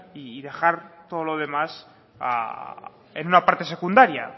y dejar todo lo demás en una parte secundaria